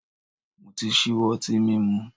Mo ti ṣíwọ́ ọtín mímu.